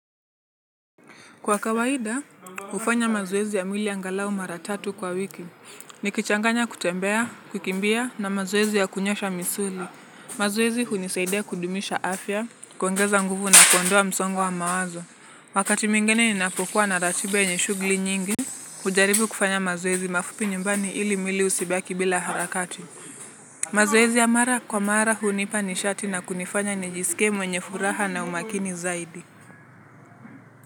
Kwa kawaida, hufanya mazoezi ya mwili angalau mara tatu kwa wiki, nikichanganya kutembea, kukimbia na mazoezi ya kunyoosha misuli. Mazoezi hunisaidia kudumisha afya, kuongeza nguvu na kuondoa msongo wa mawazo. Wakati mwigine ninapokuwa na ratiba yenye shughuli nyingi, hujaribu kufanya mazoezi mafupi nyumbani ili mwili usibaki bila harakati. Mazoezi ya mara kwa mara hunipa nishati na kunifanya nijisike mwenye furaha na umakini zaidi.